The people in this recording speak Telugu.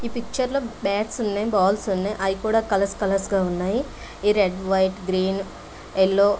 ఈ పిక్చరలో బ్యాట్స్ ఉన్నాయి. బాల్స్ ఉన్నాయి. అవి కూడా కలర్స్ కలర్స్ గా ఉన్నాయి. ఈ రెడ్ వైట్ గ్రీన్ ఎల్లో